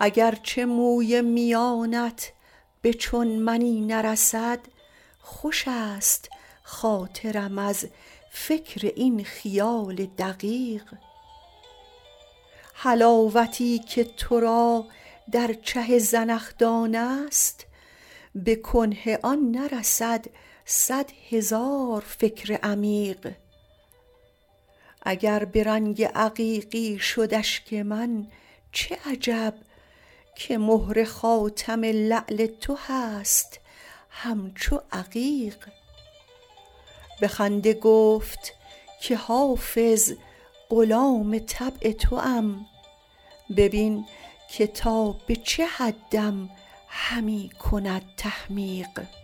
اگر چه موی میانت به چون منی نرسد خوش است خاطرم از فکر این خیال دقیق حلاوتی که تو را در چه زنخدان است به کنه آن نرسد صد هزار فکر عمیق اگر به رنگ عقیقی شد اشک من چه عجب که مهر خاتم لعل تو هست همچو عقیق به خنده گفت که حافظ غلام طبع توام ببین که تا به چه حدم همی کند تحمیق